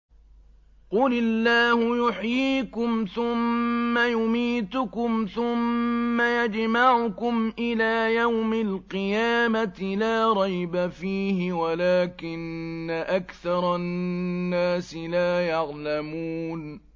قُلِ اللَّهُ يُحْيِيكُمْ ثُمَّ يُمِيتُكُمْ ثُمَّ يَجْمَعُكُمْ إِلَىٰ يَوْمِ الْقِيَامَةِ لَا رَيْبَ فِيهِ وَلَٰكِنَّ أَكْثَرَ النَّاسِ لَا يَعْلَمُونَ